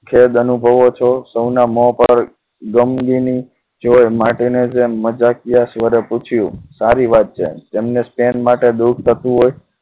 ખેદ અનુભવો છો સૌના મોં ઉપર ગમગીની માર્ટીને જેમ જેવી મજાકિયા સ્વરે પૂછ્યું સારી વાત છે તેમને સ્પૈન માટે દુઃખ થતું હો